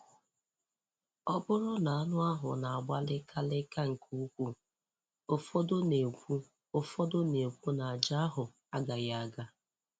Ọ bụrụ na anụ ahụ na-agba lịka lịka nke ukwuu, ụfọdụ na-ekwu ụfọdụ na-ekwu na aja ahụ agaghị aga.